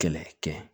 Kɛlɛ kɛ